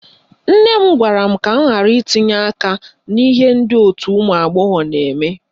Nne m gwara m ka m ghara itinye aka n'ihe ndị òtù ụmụagbọghọ na-eme